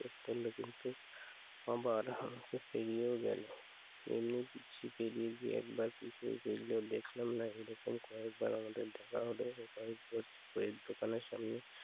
ও করল কিন্তু আবার হামকে পেরিয়েও গেল। এমনি বুঝি পেরিয়ে গিয়ে একবার পিছন ফিরলেও দেখলাম না। এরকম কয়েকবার আমাদের দেখা হলো ও কয়েকবার চা এর দোকানের সামনে